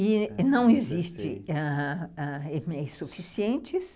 E não existem EMEIs suficientes.